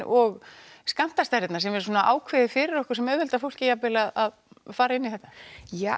og skammtastærðin sem er ákveðin fyrir okkur sem auðveldar fólki að fara í þetta ég